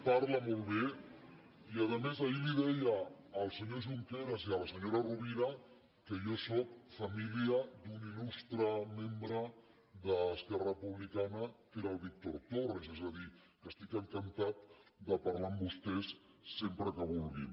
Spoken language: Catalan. parla molt bé i a més ahir els deia al senyor junqueras i a la senyora rovira que jo sóc família d’un il·lustre membre d’esquerra republicana que era el víctor torres és a dir que estic encantat de parlar amb vostès sempre que vulguin